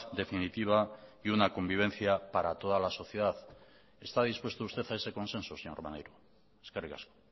definitiva y una convivencia para toda la sociedad está dispuesto usted a ese consenso señor maneiro eskerrik asko